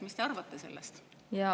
Mis te arvate sellest?